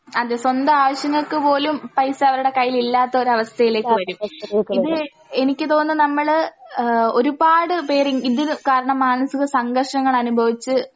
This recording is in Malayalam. അതെ സ്വന്താവശ്യങ്ങൾക്ക് പോലും പൈസ അവർടെ കയ്യിൽ ഇല്ലാത്തൊരവസ്ഥയിലേക്ക് വരും ഇത് എനിക്ക് തോന്നുന്നു നമ്മള് ഏഹ് ഒരുപാട് പേരി ഇതിന് കാരണം മാനസിക സംഘർഷങ്ങളനുഭവിച്ച്